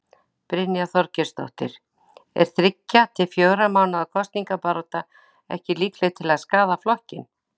Brynja Þorgeirsdóttir: Er þriggja til fjögurra mánaða kosningabarátta ekki líkleg til að skaða flokkinn?